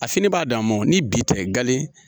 A fini b'a dan ma ni bi tɛ gale